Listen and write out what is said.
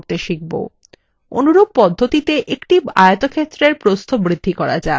অনুরূপ পদ্ধতিতে একটি আয়তক্ষেত্রের প্রস্থ বৃদ্ধি করা যাক